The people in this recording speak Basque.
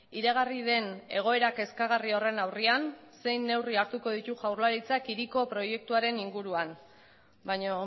iragarri den egoera kezkagarri horren aurrean zein neurri hartuko ditu jaurlaritzak hiriko proiektuaren inguruan baina